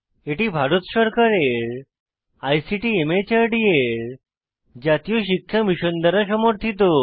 এটি ভারত সরকারের আইসিটি মাহর্দ এর জাতীয় শিক্ষা মিশন দ্বারা সমর্থিত